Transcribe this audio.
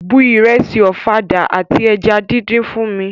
Bu ìrẹsì ọ̀fadà àti eja díndín fún mi!